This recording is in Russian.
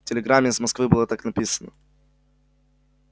в телеграмме из москвы было так написано